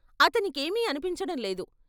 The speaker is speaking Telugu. అతనికేమీ అనిపించడం లేదు.